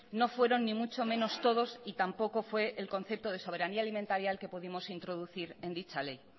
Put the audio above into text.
no fueron ni mucho menos todos y tampoco fue el concepto de soberanía alimentaria el que pudimos introducir en dicha ley